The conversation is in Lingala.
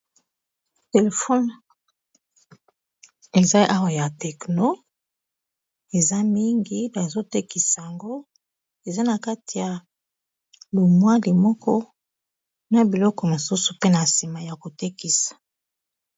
Telefone eza awa ya tekno eza mingi bazotekisa yango, eza na kati ya lumwali moko na biloko mosusu pe na nsima ya kotekisa.